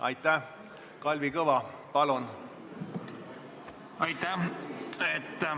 Aitäh!